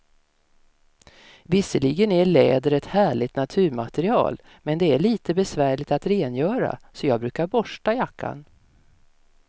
Visserligen är läder ett härligt naturmaterial, men det är lite besvärligt att rengöra, så jag brukar borsta jackan.